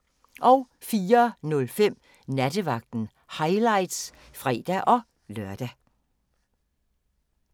04:05: Nattevagten – highlights (fre-lør)